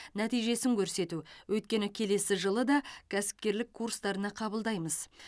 нәтижесін көрсету өйткені келесі жылы да кәсіпкерлік курстарына қабылдаймыз